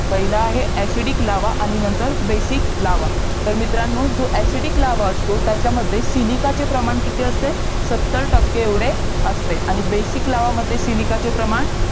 पहिलं आहे ACIDIC lava आणि नंतर BASIC लावा तर मित्रांनो जो ACIDIC लावा असतो त्याच्यामध्ये SILICA चे प्रमाण किती असते सत्तर टक्के एवढे असते आणि BASIC लावा मध्ये SILICA चे प्रमाण